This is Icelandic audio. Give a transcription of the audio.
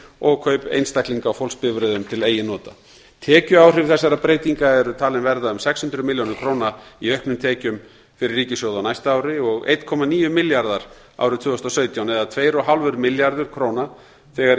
og kaup einstaklinga á fólksbifreiðum til eigin nota tekjuáhrif þessara breytinga eru talin verða um sex hundruð milljónir króna í auknum tekjum fyrir ríkissjóð á næsta ári og einn komma níu milljarðar króna árið tvö þúsund og sautján eða tuttugu og fimm milljarðar króna þegar